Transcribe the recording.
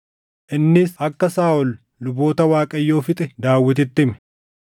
Innis akka Saaʼol luboota Waaqayyoo fixe Daawititti hime.